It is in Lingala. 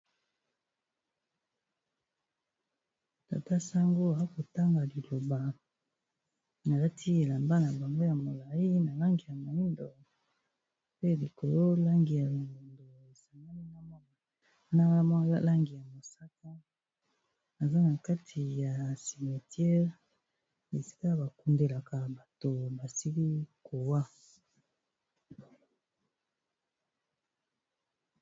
Tata sango ako tanga liloba alati elamba na bango ya molayi na langi ya moyindo, pe likolo langi ya longondo esangami na mwa na mwa langi ya mosaka. Aza na kati ya cimetiere esika ba kundelaka bato basili kowa.